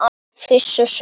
Fuss og svei!